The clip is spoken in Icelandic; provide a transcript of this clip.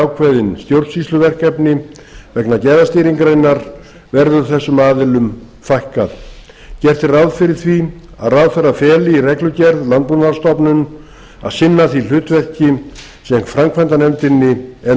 ákveðin stjórnsýsluverkefni vegna gæðastýringarinnar verður þessu aðilum fækkað gert er ráð fyrir því að ráðherra feli í reglugerð landbúnaðarstofnun að sinna því hlutverki sem framkvæmdanefndinni er